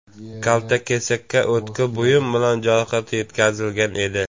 Kaltakesakka o‘tkir buyum bilan jarohat yetkazilgan edi.